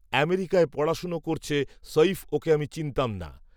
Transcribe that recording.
আমেরিকায় পড়াশোনা করছে সঈফ ওঁকে আমি চিনতাম না